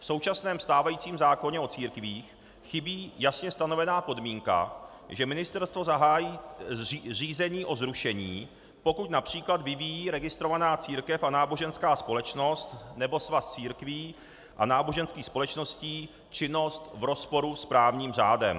V současném stávajícím zákoně o církvích chybí jasně stanovená podmínka, že ministerstvo zahájí řízení o zrušení, pokud například vyvíjí registrovaná církev a náboženská společnost nebo svaz církví a náboženských společností činnost v rozporu s právním řádem.